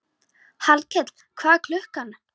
Hallkell, hvað er klukkan?